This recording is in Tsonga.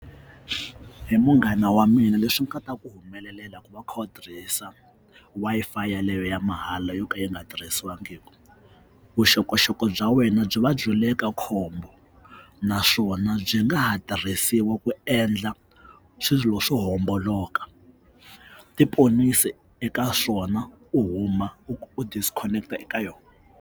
Hi munghana wa mina leswi nga ta ku humelelela ku va u kha u tirhisa Wi-Fi yeleyo ya mahala yo ka yi nga tirhisiwangiki vuxokoxoko bya wena byi va byi le ka khombo naswona byi nga ha tirhisiwa ku endla swilo swo homboloka tiponisi eka swona u huma u disconnect-a eka yona.